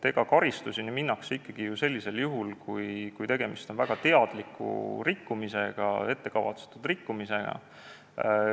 Karistust kasutatakse ikkagi ju ainult sellisel juhul, kui tegemist on väga teadliku rikkumisega, ettekavatsetud rikkumisega.